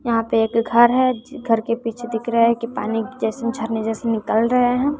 यहां पे एक घर है घर के पीछे दिख रहा है की पानी जैसे झरने जैसे निकल रहे हैं।